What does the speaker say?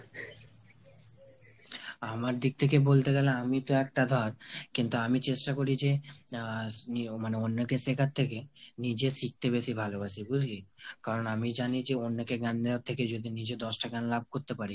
আমার দিক থেকে বলতে গেলে আমিতো একটা ধর কিন্তু আমি চেষ্টা করি যে, আহ মানে অন্যকে শেখার থেকে নিজে শিখতে বেশি ভালোবাসি বুঝলি? কারণ আমি জানি যে অন্যকে জ্ঞান দেয়ার থেকে যদি নিজে দশটা জ্ঞান লাভ করতে পারি,